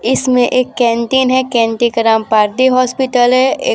इसमें एक कैंटीन है कैंटीन नाम पार्डी हॉस्पिटल है।